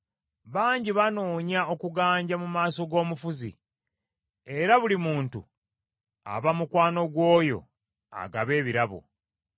Bangi banoonya okuganja mu maaso g’omufuzi, era buli muntu aba mukwano gw’oyo agaba ebirabo.